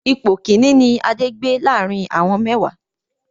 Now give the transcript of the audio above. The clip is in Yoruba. Ipò Kínní ni Adé gbé láàrín àwọn mẹ́wàá.